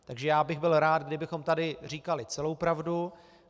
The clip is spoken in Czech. Takže já bych byl rád, kdybychom tady říkali celou pravdu.